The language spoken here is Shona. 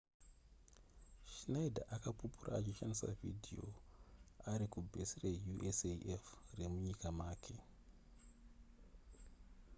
schneider akapupura achishandisa vhidhiyo ari kubhesi reusaf remunyika make